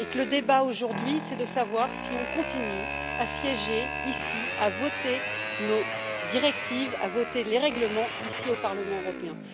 Le débat aujourd'hui est de savoir si nous continuons à siéger ici, à voter nos directives et les règlements ici, au Parlement européen.